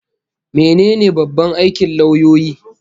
Mene ne babban aikin lauyoyi?